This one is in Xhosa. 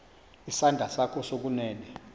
isandla sakho sokunene